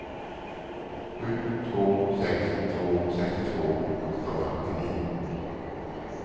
sju två sex två sextiotvå åttahundrasjuttionio